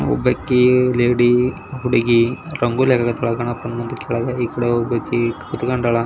ಒಬ್ಬಾಕಿ ಲೇಡಿ ಹುಡುಗಿ ರಂಗೋಲಿ ಕಾಕ್ತಿದ್ದಾಳೆ ಗಣಪ್ಪ ಮುಂದೆ ಕೆಳಗೆ ಈಕಡೆ ಒಬಾಕೆ ಕೂತುಕೊಂಡಾಳೆ --